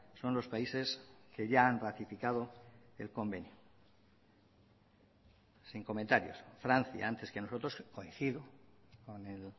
son los países que ya han ratificado el convenio sin comentarios francia antes que nosotros coincido con el